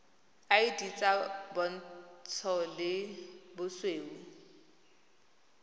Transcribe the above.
id tsa bontsho le bosweu